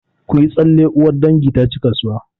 Ku yi tsalle! uwar dangi ta ci kasuwa